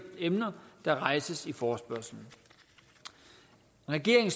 emner der rejses i forespørgslen regeringen